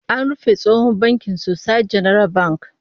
An rufe tsohon bankin Societe Generale Bank